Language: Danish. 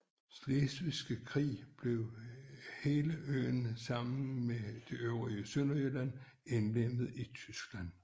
Slesvigske Krig blev hele øen sammen med det øvrige Sønderjylland indlemmet i Tyskland